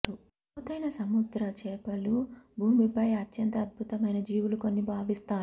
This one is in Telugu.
లోతైన సముద్ర చేపలు భూమిపై అత్యంత అద్భుతమైన జీవులు కొన్ని భావిస్తారు